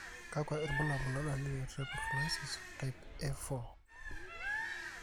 kakwa irbulabol o dalili e Brachydactyly type A4?